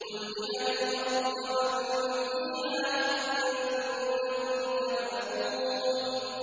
قُل لِّمَنِ الْأَرْضُ وَمَن فِيهَا إِن كُنتُمْ تَعْلَمُونَ